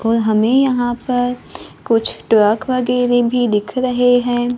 और हमें यहां पर कुछ ट्रक वगैरे भी दिख रहे हैं।